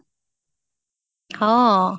অহ